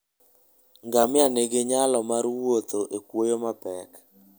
Ngamia nigi nyalo mar wuotho e kwoyo mapek.